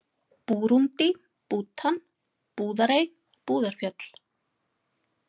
Búrúndí, Bútan, Búðarey, Búðarfjöll